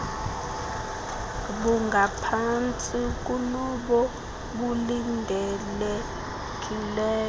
bungaphantsi kunobo bulindelekileyo